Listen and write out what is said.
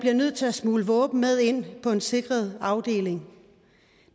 er nødt til at smugle våben med ind på en sikret afdeling